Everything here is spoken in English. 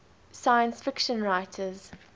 science fiction writers